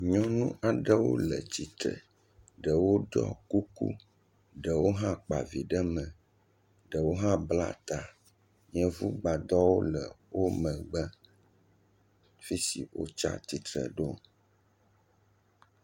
Nyɔnu aɖewo le tsitre ɖewo ɖɔ kuku ɖewo hã kpa vi ɖe me, ɖewo hã bla ta, yevu gbadɔ le wo megbe fi si wotsi atsitre ɖo.